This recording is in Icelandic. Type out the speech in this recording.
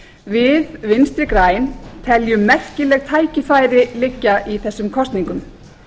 við vinstri græn teljum merkileg tækifæri liggja í þessum kosningum